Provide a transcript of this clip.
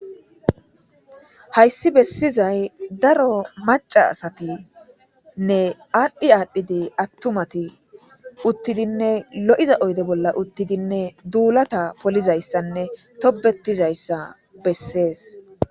Hayssi bessizay daro maca asatinne aadhdhi aadhdhidi attumati uttidinne lo'iza oyde bolla uttidinne duulata polizayssanne tobetizayssa bessees.